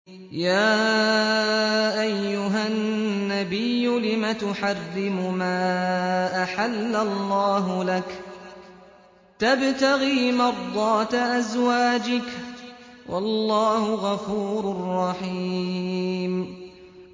يَا أَيُّهَا النَّبِيُّ لِمَ تُحَرِّمُ مَا أَحَلَّ اللَّهُ لَكَ ۖ تَبْتَغِي مَرْضَاتَ أَزْوَاجِكَ ۚ وَاللَّهُ غَفُورٌ رَّحِيمٌ